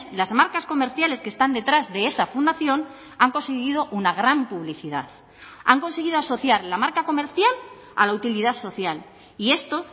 las marcas comerciales que están detrás de esa fundación han conseguido una gran publicidad han conseguido asociar la marca comercial a la utilidad social y esto